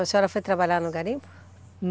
A senhora foi trabalhar no garimpo?